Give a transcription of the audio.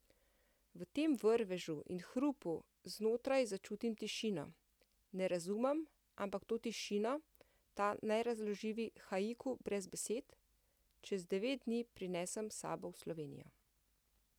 V tem vrvežu in hrupu znotraj začutim tišino, ne razumem, ampak to tišino, ta nerazložljivi haiku brez besed, čez devet dni prinesem s sabo v Slovenijo.